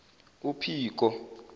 uphiko